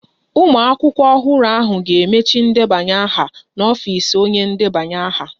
Ụmụ akwụkwọ ọhụrụ ahụ ga-emecha ndebanye aha ha n'ọfịs onye na-edeba aha